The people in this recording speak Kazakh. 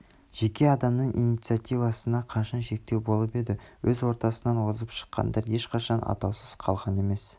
жеке адамның инициативасына қашан шектеу болып еді өз ортасынан озып шыққандар ешқашан атаусыз қалған емес